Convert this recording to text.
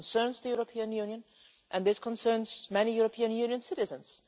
This concerns the European Union and this concerns many European Union citizens.